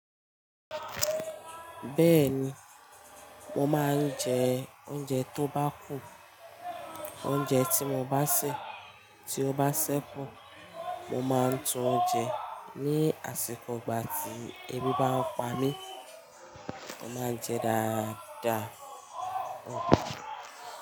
Bẹ́ẹ̀ni, mo máa ń jẹ oúnjẹ tó bá kú. Oúnjẹ tí mo bá sè, tí ó bá ṣẹ́kù. Mo máa ń tún jẹ ní àsìkò ìgbà tí ebi bá ń pa mí. Mo máa ń jẹ dáadáa.